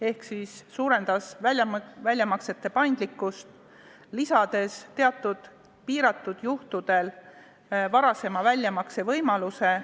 Me soovime suurendada väljamaksete paindlikkust, lisades teatud piiratud juhtudel varasema väljamakse võimaluse.